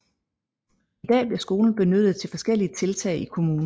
I dag bliver skolen benyttet til forskellige tiltag i kommunen